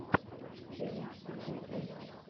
челлендж сергей трейсер